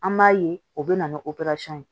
An b'a ye o bɛ na ni ye